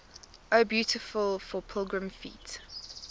o beautiful for pilgrim feet